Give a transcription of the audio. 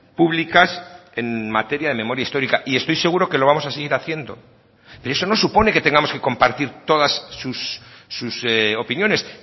públicas en materia de memoria histórica y estoy seguro que lo vamos a seguir haciendo pero eso no supone que tengamos que compartir todas sus opiniones